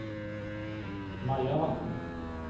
Majavatn